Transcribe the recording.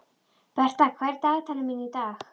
Bertha, hvað er í dagatalinu mínu í dag?